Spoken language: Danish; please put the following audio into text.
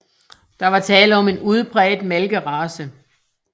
Der var tale om en udpræget malkerace